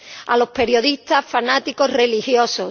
a los periodistas, fanáticos religiosos.